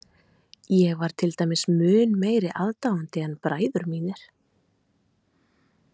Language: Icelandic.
Ég var til dæmis mun meiri aðdáandi en bræður mínir.